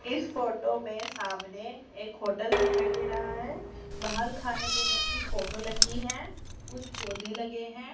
इस फोटो में सामने एक होटल दिखाई दे रहा है बाहर खाने पीने की फोटो लगी है कुछ पौधे लगे हैं।